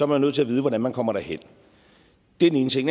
man nødt til at vide hvordan man kommer derhen det er den ene ting